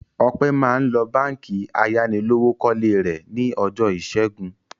Ọpẹ́ máa ń lọ Báńkì ayánilówókọ́lé rẹ̀ ní ọjọ́ ìṣẹ́gun.